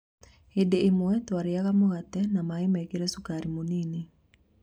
" Hĩndĩ ĩmwe tũarĩaga mũgate na maĩ mekĩre cukari mũnini.